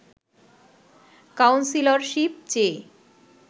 councillorship চেয়ে